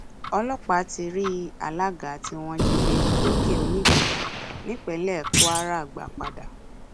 ọlọpàá ti rí àlaga tí wọn jí gbé lòkèonígbín nípínlẹ kwara gbá padà